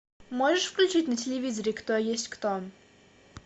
можешь включить на телевизоре кто есть кто